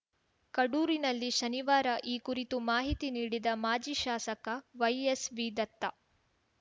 ಕಡೂರಿನಲ್ಲಿ ಶನಿವಾರ ಈ ಕುರಿತು ಮಾಹಿತಿ ನೀಡಿದ ಮಾಜಿ ಶಾಸಕ ವೈಎಸ್‌ವಿದತ್ತ